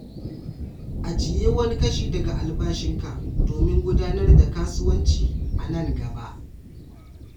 Ajiye wani kashi daga albashinka domin gudanar da kasuwanci a nan gaba.